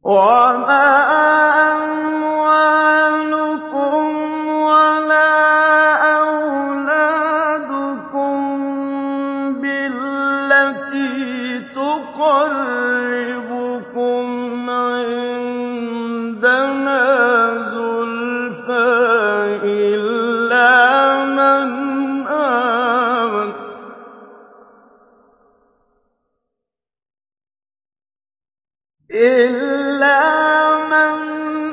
وَمَا أَمْوَالُكُمْ وَلَا أَوْلَادُكُم بِالَّتِي تُقَرِّبُكُمْ عِندَنَا زُلْفَىٰ إِلَّا مَنْ